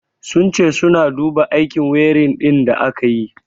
Sun ce suna duba aikin wiring din da aka yi.